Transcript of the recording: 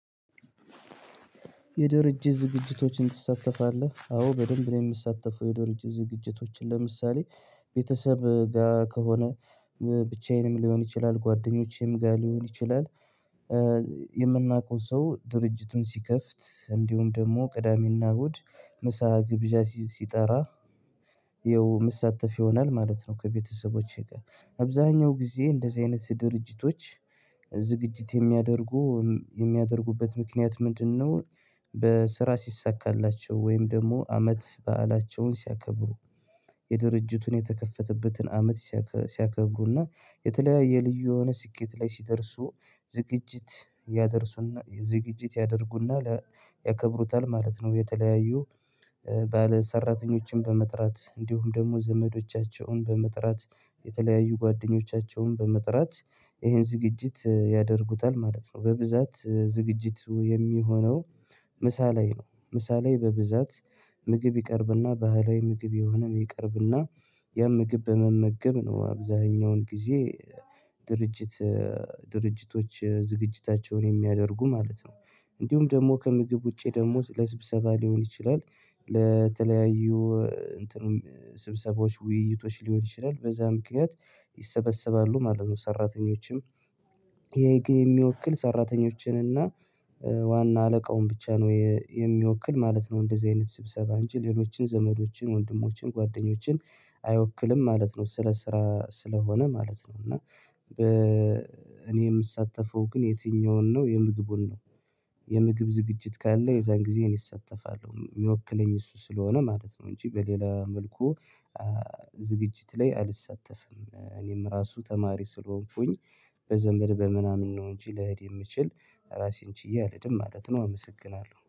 የድርጅት ዝግጅቶችን ትሳተፋለህ? አዎ በደንብ ነው የምሳተፈው የድርጅት ዝግጅቶችን ለምሳሌ ቤተሰብ ጋር ከሆነ ብቻዬንም ሊሆን ይችላል ጓደኞቼም ጋር ሊሆን ይችላል። የምናውቀው ሰው ድርጅቱን ሲከፍት እንዲሁም ደግሞ ቅዳሜና እሁድ ምሳ ግብዣ ሲጠራ ይኸው ምሳተፍ ይሆናል ማለት ነው። ከቤተሰቦቼ ጋር አብዛኛው ጊዜ እንደዚህ አይነት ድርጅቶች ዝግጅት የሚያደርጉ የሚያደርጉበት ምክንያት ምንድነው? በስራ ሲሳካላቸው ወይም ደግሞ አመት በዓላቸውን ሲያከብሩ የድርጅቱን የተከፈተበትን አመት ሲያከብሩና የተለያየ ልዩ የሆነ ስኬት ላይ ሲደርሱ ዝግጅት ያደርሱና ዝግጅት ያደርጉና ያከብሩታል ማለት ነው። የተለያዩ ባለሰራተኞችን በመጥራት እንዲሁም ደግሞ ዘመዶቻቸውን በመጥራት የተለያዩ ጓደኞቻቸውን በመጥራት ይሄን ዝግጅት ያደርጉታል ማለት ነው። በብዛት ዝግጅቱ የሚሆነው ምሳ ላይ ነው ምሳ ላይ በብዛት ምግብ ይቀርብና ባህላዊ ምግብ የሆነ ይቀርብና ያም ምግብ በመመገብ ነው። አብዛኛውን ጊዜ ድርጅት ድርጅቶች ዝግጅታቸውን የሚያደርጉ ማለት ነው። እንዲሁም ደግሞ ከምግብ ውጪ ደግሞ ስለ ስብሰባ ሊሆን ይችላል። ለተለያዩ እንትኑም ስብሰቦች ውይይቶች ሊሆን ይችላል በዛ ምክንያት ይሰበሰባሉ ማለት ነው። ሰራተኞችም ይሄ ግን የሚወክል ሰራተኞችን እና ዋና አለቃውን ብቻ ነው የሚወክል ማለት ነው እንደዚህ አይነት ስብሰባ እንጂ ሌሎችን ዘመዶችን ወንድሞችን ጓደኞችን አይወክልም ማለት ነው። ስለ ስራ ስለሆነ ማለት ነው። እና እኔ የምሳተፈው ግን የትኛውን ነው የምግቡን ነው? የምግብ ዝግጅት ካለ የዛን ጊዜ እኔ እሳተፋለሁ የሚወክለኝ እሱ ስለሆነ ማለት ነው። እንጂ በሌላ መልኩ ዝግጅት ላይ አልሳተፍም። እኔም ራሱ ተማሪ ስለሆንኩኝ በዘመድ በምናምን ነው እንጂ ለሄድ የምችል ራሴን ችዬ አልሄድም ማለት ነው። አመሰግናለሁ